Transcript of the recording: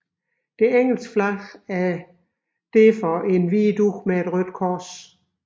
Det engelske flag er således en hvid dug med et rødt kors